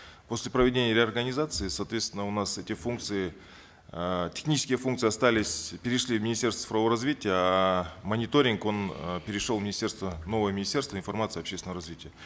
после проведения реорганизации соответственно у нас эти функции э технические функции остались перешли в министерство цифрового развития а мониторинг он э перешел в министерство новое министерство информации и общественного развития